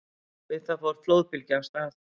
Við það fór flóðbylgja af stað.